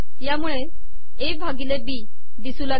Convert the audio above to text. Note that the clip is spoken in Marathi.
यामुळे ए भािगले बी िदसू लागेल